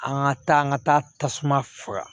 An ka taa an ka taa tasuma faga